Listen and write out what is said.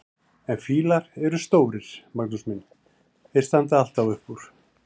En fílar eru stórir, Magnús minn, þeir standa alltaf upp úr!